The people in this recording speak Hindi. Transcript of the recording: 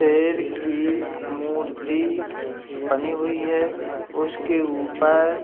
शेर की मूर्ति बनी हुई है उसके ऊपर --